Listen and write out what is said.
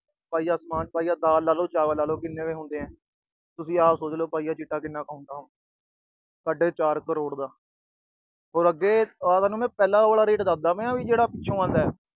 ਪਾਈਆ ਸਮਾਨ, ਪਾਈਆ ਦਾਲ, ਪਾਈਆ ਚਾਵਲ ਲੈ ਲੋ, ਕਿੰਨੇ ਕੁ ਹੁੰਦੇ ਆ। ਤੁਸੀਂ ਆਪ ਸੋਚ ਲੋ ਪਾਈਆ ਚਿੱਟਾ ਕਿੰਨਾ ਕ ਹੁੰਦਾ ਹੋਊ। ਸਾਢੇ ਚਾਰ ਕਰੋੜ ਦਾ। ਹੋਰ ਅੱਗੇ ਮੈਂ ਤੁਹਾਨੂੰ ਉਹ ਆਲਾ rate ਦੱਸਦਾ ਪਿਆ ਜੋ ਪਿੱਛੋਂ ਆਉਂਦਾ।